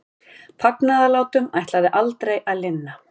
Fagnaðarlátunum ætlaði aldrei að linna.